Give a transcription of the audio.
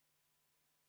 Head Riigikogu liikmed!